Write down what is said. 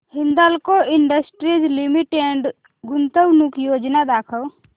Hindalco industries limited गुंतवणूक योजना दाखव